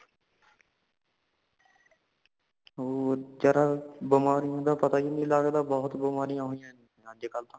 ਹੋਰ ਵੀਚਾਰਾ ਬਮਾਰੀਆਂ ਦਾ ਪਤਾ ਹੀ ਨੀ ਲੱਗਦਾ ਬਹੁਤ ਬਮਾਰੀਯ ਹੋਈਏ ਅੱਜ ਕਾਲ ਤਾਂ